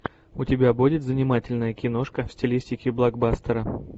у тебя будет занимательная киношка в стилистике блокбастера